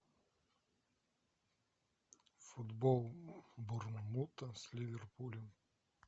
футбол борнмута с ливерпулем